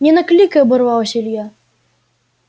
не накликай оборвал илья